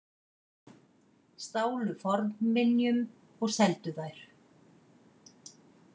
Stálu fornminjum og seldu þær